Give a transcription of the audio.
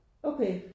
Okay